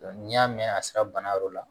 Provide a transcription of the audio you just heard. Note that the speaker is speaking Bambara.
N'i y'a mɛn a sira bana yɔrɔ la